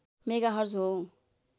megahertz हो